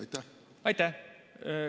Aitäh!